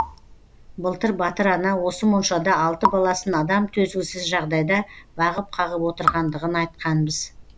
былтыр батыр ана осы моншада алты баласын адам төзгісіз жағдайда бағып қағып отырғандығын айтқанбыз